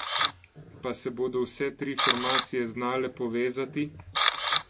Pa se bodo vse tri formacije znale povezati?